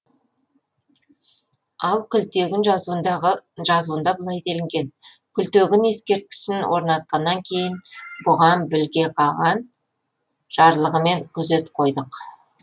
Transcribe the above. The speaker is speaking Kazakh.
ал күлтегін жазуында былай делінген күлтегін ескерткішін орнатқаннан кейін бұған біліге қаған жарлығымен күзет қойдық